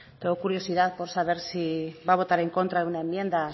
tengo curiosidad por saber si va a votar en contra de una enmienda